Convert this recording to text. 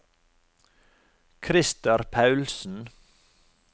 Christer Paulsen